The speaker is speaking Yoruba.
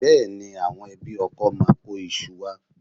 Bẹ́ẹ̀ni, àwọn ẹbí ọkọ máa kó iṣu wá